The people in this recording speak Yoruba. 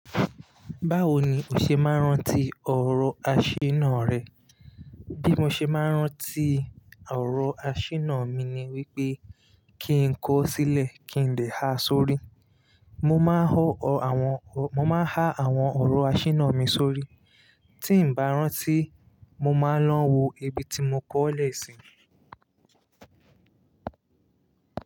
Báwo ni o ṣe máa ń rántí ọ̀rọ̀ aṣínà rẹ? Bí mo ṣe máa ń rántí ọ̀rọ̀ aṣínà mi ni wípé kí n kó ó sílẹ̀ kí n lè ha sórí. Mo máa n ha àwọn ọ̀rọ̀ aṣínà mi sórí. Tí ǹ bá rántí, mo máa ń lọ wo ibi tí mo kọ́ ọ́ lẹ̀ sí.